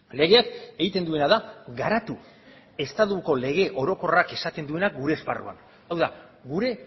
legeak egiten duena da garatu estatuko lege orokorrak esaten duena gure esparruan hau da gure